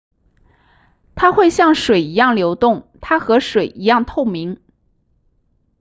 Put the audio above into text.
它会像水一样流动它和水一样透明